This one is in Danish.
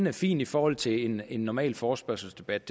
er fint i forhold til en normal forespørgselsdebat